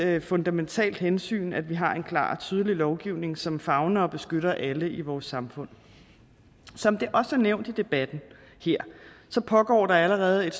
et fundamentalt hensyn at vi har en klar og tydelig lovgivning som favner om og beskytter alle i vores samfund som det også er nævnt i debatten her pågår der allerede et